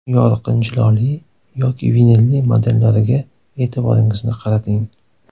Yorqin jiloli yoki vinilli modellariga e’tiboringizni qarating.